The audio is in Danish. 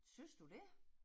Synes du det?